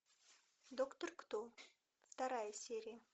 доктор кто вторая серия